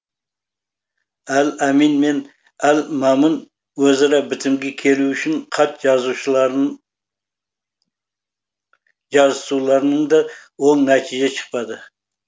әл әмин мен әл мәмун өзара бітімге келу үшін хат жазысуларынан да оң нәтиже шықпады